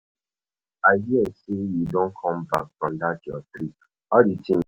I hear sey you don come back from dat your trip, how di thing be?